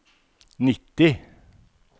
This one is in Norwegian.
nitti